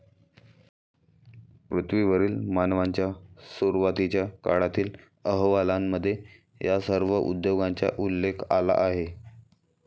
पृथ्वीवरील मानवांच्या सुरवातीच्या काळातील अहवालांमध्ये या सर्व उद्योगांचा उल्लेख आला आहे.